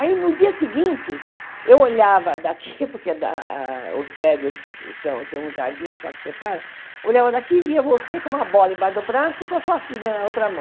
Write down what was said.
Aí, no dia seguinte, eu olhava daqui, porque a a os prédios são, tem um jardim só que separa, olhava daqui e via você com uma bola embaixo do braço e com a sua filha na outra mão.